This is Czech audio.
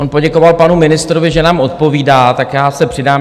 On poděkoval panu ministrovi, že nám odpovídá, tak já se přidám.